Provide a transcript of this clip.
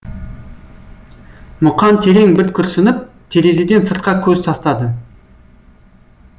мұқан терең бір күрсініп терезеден сыртқа көз тастады